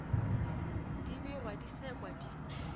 di begwa di sekwa di